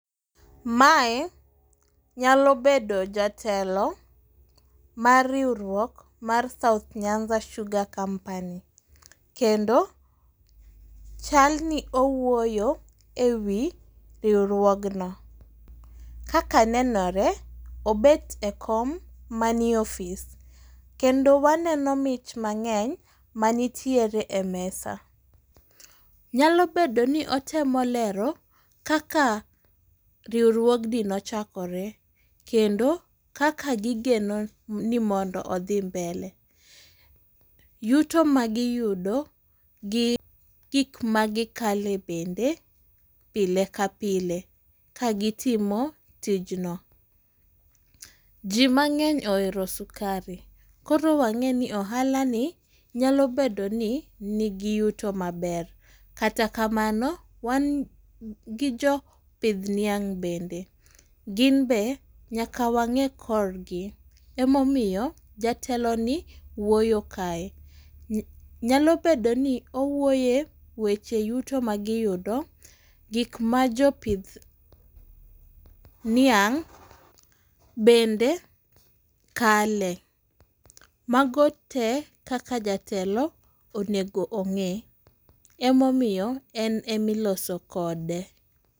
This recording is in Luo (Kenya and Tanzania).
Mae nyalo bedo jatelo mar riwruok mar south Nyanza Sugar Company kendo chalni owuoyo e wi riwruogno, kaka nenore, obet e kom manie ofis kendo waneno mich mang'eny manitiere e mesa. Nyalo bedo ni otemo lero kaka riwruogni nochakore kendo kaka gigeno ni mondo odhi mbele. Yuto magiyudo gi gik magikale bende pile ka pile, ka gitimo tijno, ji mang'eny ohero sukari, koro wang'eni ohalani nyalo bedo ni nigi yuto maber, kata kamano wan gi jopidh niang' bende, gin be nyaka wang'e korgi, emomiyo jateloni wuoyo kae. Nyalo bedo ni owuoyo e weche yuto magiyudo, gik ma jopidh niang' bende kale, mago te kaka jatelo onego ong'e, emomiyo en emiloso kode.